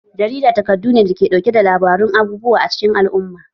Jarida takardu ne da ke ɗauke da labarun abubuwa acikin al'umma